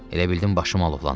Elə bildim başım alovlanır.